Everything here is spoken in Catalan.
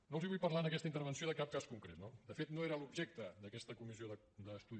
no els vull parlar en aquesta intervenció de cap cas concret no de fet no era l’objecte d’aquesta comissió d’estudi